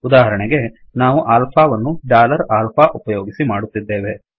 ಉದಾಹರಣೆಗೆ ನಾವು ಆಲ್ಫಾ ವನ್ನು ಡಾಲರ್ ಆಲ್ಫಾ ಉಪಯೋಗಿಸಿ ಮಾಡುತ್ತಿದ್ದೇವೆ